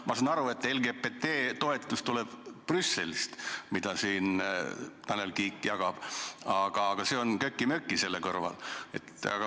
Ma saan aru, et LGBT ühingu toetus, mida Tanel Kiik jagab, tuleb Brüsselist, aga see on kökimöki selle kõrval.